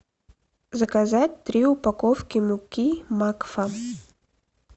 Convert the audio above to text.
заказать три упаковки муки макфа